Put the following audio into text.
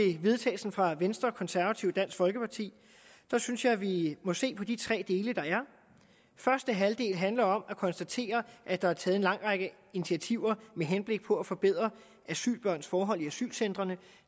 vedtagelse fra venstre konservative og dansk folkeparti synes jeg vi må se på de tre dele der er første halvdel handler om at konstatere at der er taget en lang række initiativer med henblik på at forbedre asylbørns forhold på asylcentrene